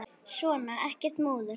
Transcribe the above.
Svona, ekkert múður.